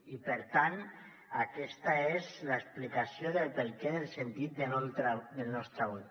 i per tant aquesta és l’explicació del perquè del sentit del nostre vot